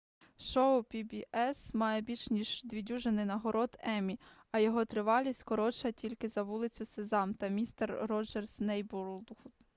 шоу pbs має більш ніж дві дюжини нагород еммі а його тривалість коротша тільки за вулицю сезам та містер роджерс нейборгуд